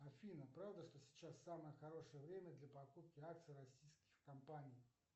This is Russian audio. афина правда что сейчас самое хорошее время для покупки акций российских компаний